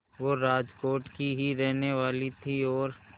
वो राजकोट की ही रहने वाली थीं और